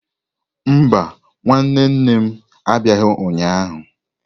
Mba, nwanne nne m abịaghị ụnyahụ.